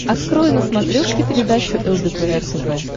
открой на смотрешке передачу лдпр тв